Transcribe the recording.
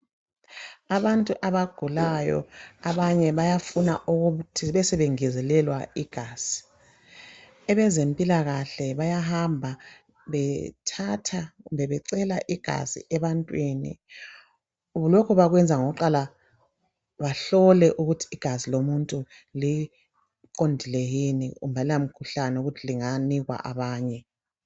Abantu abagulayo bayafuna ukuthi besebengezelelwa igazi abezempilakahle bayahamba bethatha kumbe becela igazi ebantwini lokhu bakwenza ngokuqala behlole ukuthi igazi lomuntu liqondile lokuthi kalilamkhuhlane ukuthi linganika abanye